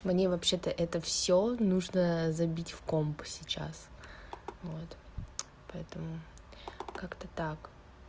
мне вообще-то это всё нужно забить в компьютер сейчас вот поэтому как-то так